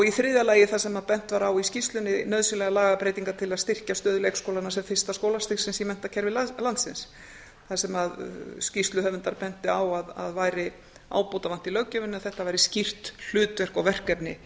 í þriðja lagi þar sem bent var á í skýrslunni nauðsynlegar lagabreytingar til að styrkja stöðu leikskólanna sem fyrsta skólastigsins í menntakerfi landsins þar sem að skýrsluhöfundar bentu á að væri ábótavant í löggjöfinni að þetta væri skýrt hlutverk og verkefni